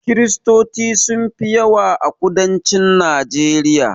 Kristoci sun fi yawa a kudancin najeriya